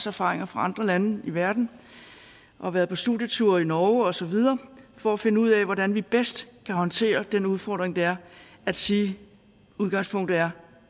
erfaringer fra andre lande i verden og har været på studietur i norge og så videre for at finde ud af hvordan vi bedst kan håndtere den udfordring det er at sige udgangspunktet er